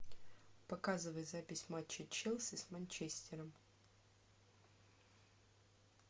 показывай запись матча челси с манчестером